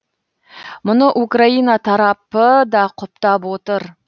мұны украина тарапы да құптап отыр